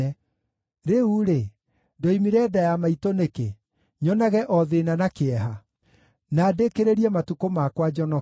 Rĩu-rĩ, ndoimire nda ya maitũ nĩkĩ, nyonage o thĩĩna na kĩeha, na ndĩkĩrĩrie matukũ makwa njonokete?